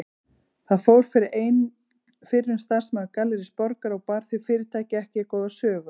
Þar fór fyrir einn fyrrum starfsmaður Gallerís Borgar og bar því fyrirtæki ekki góða sögu.